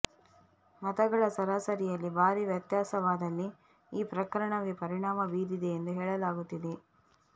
ಮತಗಳ ಸರಾಸರಿಯಲ್ಲಿ ಭಾರಿ ವ್ಯತ್ಯಾಸವಾದಲ್ಲಿ ಈ ಪ್ರಕರಣವೇ ಪರಿಣಾಮ ಬೀರಿದೆ ಎಂದು ಹೇಳಲಾಗುತ್ತಿದೆ